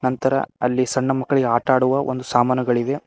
ನಂತರ ಅಲ್ಲಿ ಸಣ್ಣ ಮಕ್ಕಳಿಗೆ ಆಟ ಆಡುವ ಒಂದು ಸಾಮಾನುಗಳಿವೆ.